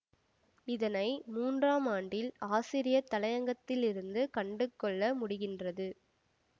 இதனை மூன்றாம் ஆண்டில் ஆசிரியர் தலையங்கத்திலிருந்து கண்டுகொள்ள முடிகின்றது